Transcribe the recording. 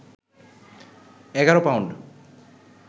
১১পাউণ্ড